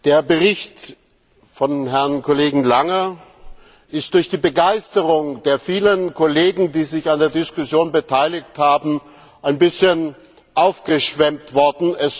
Der Bericht von Herrn Kollegen Lange ist durch die Begeisterung der vielen Kollegen, die sich an der Diskussion beteiligt haben, ein bisschen aufgebläht worden.